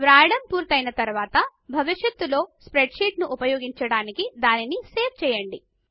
వ్రాయడము పూర్తి అయిన తరువాత భవిష్యత్తులో ఆ స్ప్రెడ్ షీట్ ను ఉపయోగించడానికి దానిని సేవ్ చేయండి